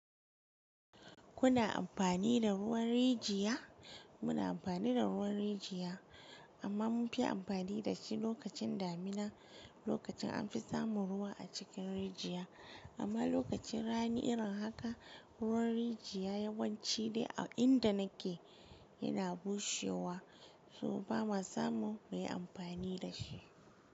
Kuna amfani da ruwan rijiya? Muna amfani da ruwan rijiya amma mun fi amfani da shi lokacin damina, lokacin an fi samun ruwa a cikin rijiya. Amma lokacin rani irin haka ruwan rijiya yawanci dai a inda nake yana bushewa so ba ma samun mu yi amfani da shi.